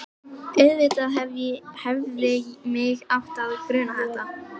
Auðvitað hefði mig átt að gruna þetta.